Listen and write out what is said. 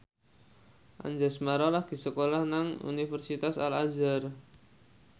Anjasmara lagi sekolah nang Universitas Al Azhar